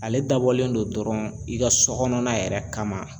Ale dabɔlen don dɔrɔn i ka so kɔnɔna yɛrɛ kama